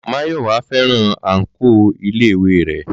Máyọ̀wá fẹ́ràn àǹkóò iléèwé rẹ̀